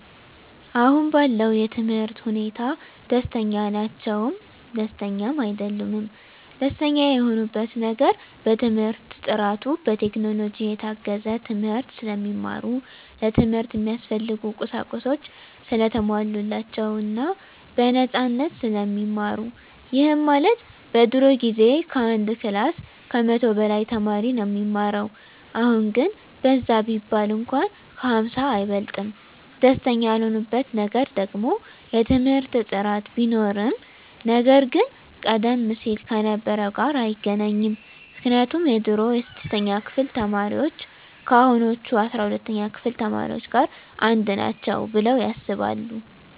አሁን ባለው የትምህርት ሁኔታ ደስተኛ ናቸውም ደስተኛም አይደሉምም። ደስተኛ የሆኑበት ነገር በትምህርት ጥራቱ፣ በቴክኖሎጂ የታገዘ ትምህርት ስለሚማሩ፣ ለትምህርት እሚያስፈልጉ ቁሳቁሶች ሰለተሟሉላቸው እና በነፃነት ስለሚማሩ ይህም ማለት በድሮ ጊዜ ከአንድ ክላስ ከመቶ በላይ ተማሪ ነው እሚማረው አሁን ግን በዛ ቢባል እንኳን ከ ሃምሳ አይበልጥም። ደስተኛ ያልሆኑበት ነገር ደግሞ የትምህርት ጥራት ቢኖርም ነገር ግን ቀደም ሲል ከነበረው ጋር አይገናኝም ምክንያቱም የድሮ የስድስተኛ ክፍል ተማሪዎች ከአሁኖቹ አስራ ሁለተኛ ክፍል ተማሪዎች ጋር አንድ ናቸው ብለው ያስባሉ።